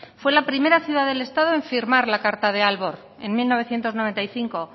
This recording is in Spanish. fue la primera ciudad del estado en firmar la carta de aalborg en mil novecientos noventa y cinco